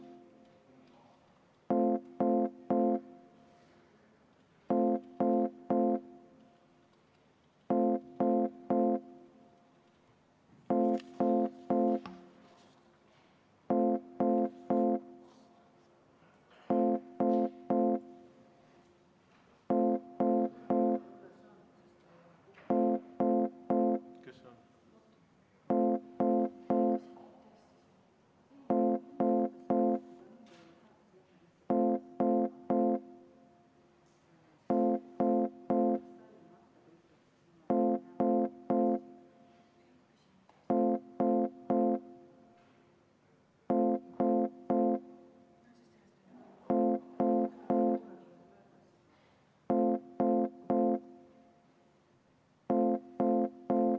V a h e a e g